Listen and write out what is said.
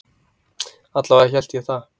Alla vega hélt ég það.